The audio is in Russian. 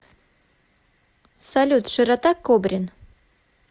салют широта кобрин